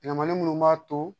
Ɲamanin minnu b'a to